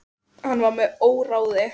Hann var með óráði.